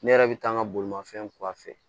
Ne yɛrɛ bɛ taa n ka bolimafɛn kura fɛ